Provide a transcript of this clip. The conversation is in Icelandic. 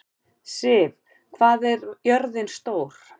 Siv, hvað er jörðin stór?